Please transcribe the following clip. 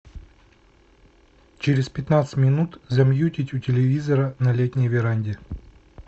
через пятнадцать минут замьютить у телевизора на летней веранде